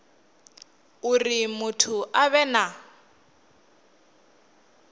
uri muthu a vhe na